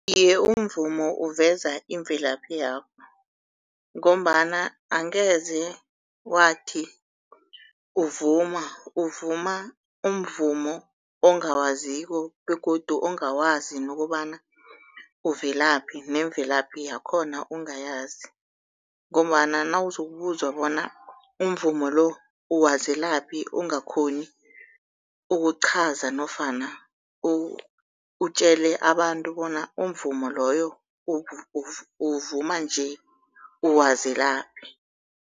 Iye, umvumo uveza imvelaphi yakho ngombana angeze wathi uvuma uvuma umvumo ongawaziko begodu ongawazi nokobana uvelaphi nemvelaphi yakhona ungayazi. Ngombana nawuzokubuzwa bona umvumo lo uwazelaphi ungakghoni ukuchaza nofana utjele abantu bona umvumo loyo uwuvuma nje uwazelaphi.